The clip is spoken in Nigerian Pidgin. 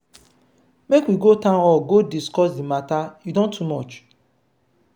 make we go town hall go discuss the matter e don too much.